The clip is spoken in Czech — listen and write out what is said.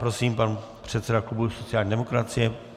Prosím, pan předseda klubu sociální demokracie.